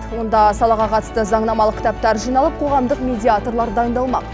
онда салаға қатысты заңнамалық кітаптар жиналып қоғамдық медиаторлар дайындалмақ